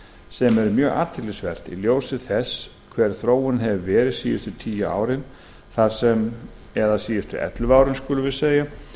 sem er mjög athyglisvert í ljósi þess hver þróunin hefur verið síðustu tíu árin eða síðustu ellefu árin skulum við segja